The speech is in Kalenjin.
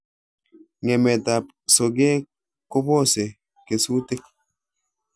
Ng'emetab sokeek koboose kesuutik